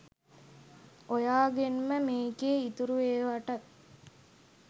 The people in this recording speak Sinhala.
ඔයාගෙන්ම මේකේ ඉතුරු ඒවටත්